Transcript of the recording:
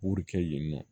Wuru kɛ yen nɔ